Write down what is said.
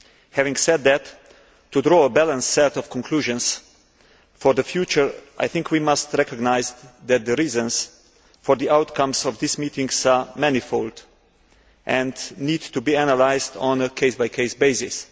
Having said that, in order to draw a balanced set of conclusions for the future, I think we must recognise that the reasons for the outcomes of these meetings are manifold and need to be analysed on a case by case basis.